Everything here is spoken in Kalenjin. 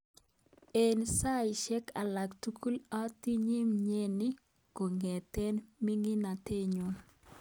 Eng saishek alak tugul atinye mnyeni kongetkei miningatet nyu.